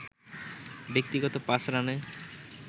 ব্যক্তিগত ৫ রানে